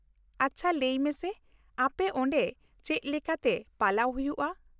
ᱟᱪᱪᱷᱟ ᱞᱟᱹᱭ ᱢᱮᱥᱮ, ᱟᱯᱮ ᱚᱸᱰᱮ ᱪᱮᱫ ᱞᱮᱠᱟᱛᱮ ᱯᱟᱞᱟᱣ ᱦᱩᱭᱩᱜᱼᱟ ?